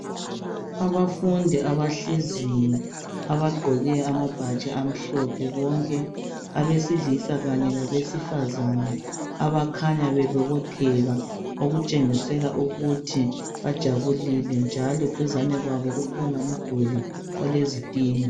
Abafundi abahleziyo. Abagqoke amabhatshi amhlophe bonke. Abesilisa kanye labesifazane. Abakhanya bebobotheka. Okutshengisela ukuthi bajabulile, njalo duzane kwabo kukhona umduli, olezitina.